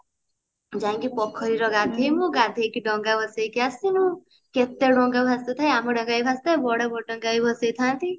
ଯାଇକି ପୋଖରୀରେ ଗାଧେଇବୁ ଗାଧେଇକି ଡଙ୍ଗା ଭସେଇକି ଆସିବୁ କେତେ ଡଙ୍ଗା ଭାସୁ ଥାଏ ଆମ ଡଙ୍ଗା ବି ଭାସୁଥାଏ ବଡ ଡଙ୍ଗା ବି ଭସେଇ ଥାନ୍ତି